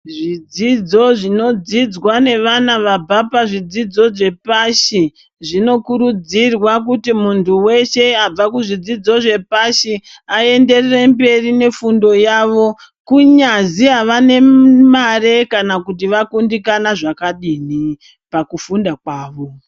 Zvidzidzo zvinodzidzwa ngevana vabva pazvidzidzo zvepashi, zvinokurudzirwa kuti munthu weshe wabva kuzvidzidzo zvepashi aenderere mberi nefundo yavo, kunyazi avane mare kana kuti vakundikana zvakadini pakufunda kwavo.